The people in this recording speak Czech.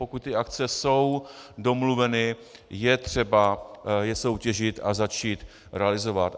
Pokud ty akce jsou domluveny, je třeba je soutěžit a začít realizovat.